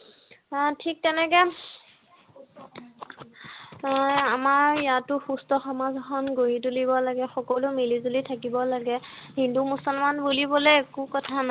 ঠিক তেনেকে আমাৰ ইয়াতো সুস্থ সমাজ এখন গঢ়ি তুলিব লাগে সকলো মিলি জুলি থাকিব লাগে হিন্দু মুছলমান বুলিবলৈ একো কথা নাই